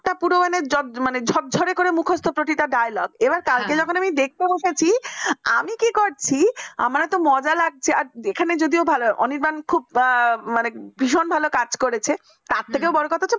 একটা প্রমাণের ঝরঝরে করে মুখস্ত প্রতিটা dialogue এবার কালকে যকন দেখতে বসেছি আমি কি করছি আমার তো মজা লাগছে এখানে যদিও ভালো অনির্বাণ খুব ভীষণ ভালো কাজ করেছে তার থেকে বড় কথা